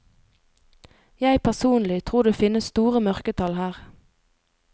Jeg personlig tror det finnes store mørketall her.